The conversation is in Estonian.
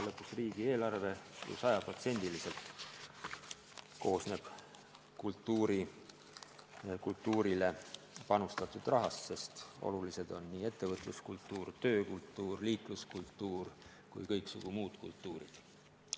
Lõpuks riigieelarve koosneb ju sajaprotsendiliselt kultuurile panustatud rahast, sest olulised on nii ettevõtluskultuur, töökultuur, liikluskultuur kui ka kõiksugu muud kultuurid.